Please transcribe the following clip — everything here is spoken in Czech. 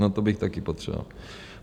- No to bych taky potřeboval.